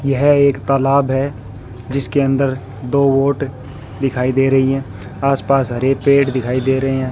यह एक तालाब है जिसके अंदर दो वोट दिखाई दे रही हैं आस पास हरे पेड़ दिखाई दे रहे हैं।